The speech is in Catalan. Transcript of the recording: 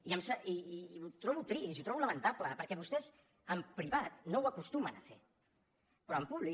i ho trobo trist i ho trobo lamentable perquè vostès en privat no ho acostumen a fer però en públic